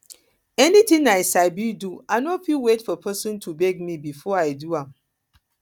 anything i sabi do i no fit wait for pesin to beg me before i do am